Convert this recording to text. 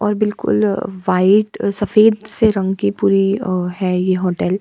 और बिलकुल अअ वाइट सफ़ेद से रंग कि पुरी अअ है ये होटल ।